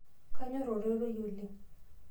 kanyor ororei lang